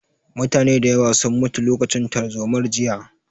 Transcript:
Mutane da yawa sun mutu lokacin tarzomar jiya